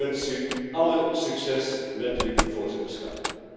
Ik wens u alle succes met uw voorzitterschap.